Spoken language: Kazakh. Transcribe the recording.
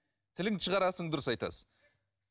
тіліңді шығарасың дұрыс айтасыз